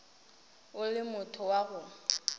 o le motho wa go